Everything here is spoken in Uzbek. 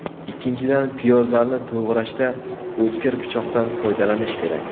Ikkinchidan, piyozlarni to‘g‘rashda o‘tkir pichoqdan foydalanish kerak.